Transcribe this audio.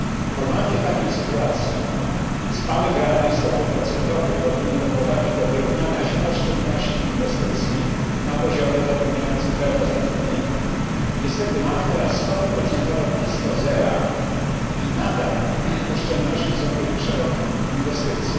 Normalnie w takiej sytuacji spadek realnej stopy procentowej powinien doprowadzić do wyrównania się oszczędności i inwestycji na poziomie zapewniającym pełne zatrudnienie. Niestety mamy teraz stopy procentowe blisko zera i nadal oszczędności są większe od inwestycji.